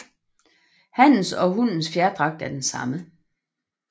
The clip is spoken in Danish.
Hannens og hunnens fjerdragt er den samme